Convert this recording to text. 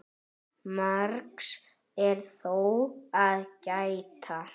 Margs er þó að gæta.